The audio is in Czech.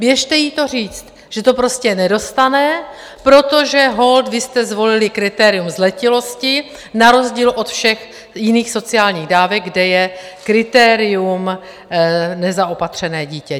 Běžte jí to říct, že to prostě nedostane, protože holt vy jste zvolili kritérium zletilosti na rozdíl od všech jiných sociálních dávek, kde je kritérium nezaopatřené dítě.